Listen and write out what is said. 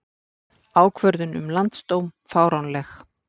Ákvörðun um landsdóm fáránleg